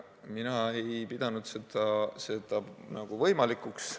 Mina ei pidanud seda võimalikuks.